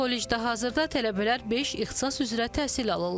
Kollecdə hazırda tələbələr beş ixtisas üzrə təhsil alırlar.